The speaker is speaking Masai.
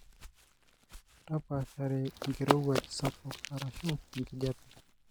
tapashare enkirowuaj sapuk arashu enkijape.